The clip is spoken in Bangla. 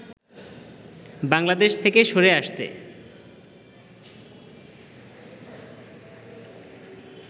বাংলাদেশ থেকে সরে আসতে